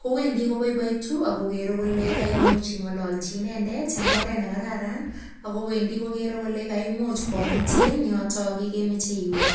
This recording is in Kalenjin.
kowendi koboiboitu akokerei kole kaimuch ing'ololji inendet eng oret nekararan ako wendi kokerei kole kaimuch komutin yoto kemeche iwe